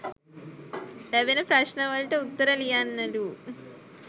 ලැබෙන ප්‍රශ්න වලට උත්තර ලියන්නලූ.